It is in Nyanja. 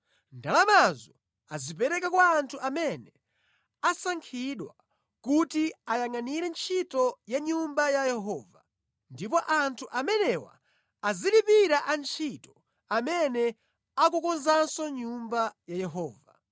Ndalamazo azipereke kwa anthu amene asankhidwa kuti ayangʼanire ntchito ya Nyumba ya Yehova. Ndipo anthu amenewa azilipira antchito amene akukonzanso Nyumba ya Yehova,